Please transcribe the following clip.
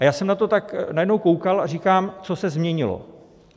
A já jsem na to tak najednou koukal a říkám, co se změnilo?